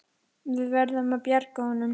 Við verðum að bjarga honum.